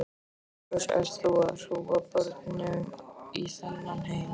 Til hvers ert þú að hrúga börnum í þennan heim?